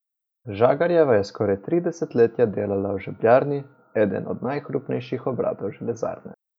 Žagarjeva je skoraj tri desetletja delala v žebljarni, enem od najhrupnejših obratov železarne.